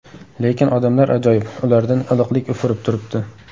Lekin odamlar ajoyib, ulardan iliqlik ufurib turibdi.